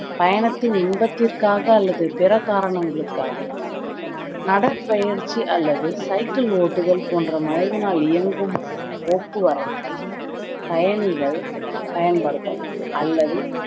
பயணத்தின் இன்பத்திற்காக அல்லது பிற காரணங்களுக்காக நடை பயிற்சி அல்லது cycle ஓட்டுதல் போன்ற மனிதனால் இயங்கும் போக்குவரத்தை பயணிகள் பயன்படுத்தலாம் அல்லது